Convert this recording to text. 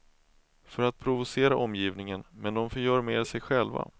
För att provocera omgivningen, men de förgör mer sig själva.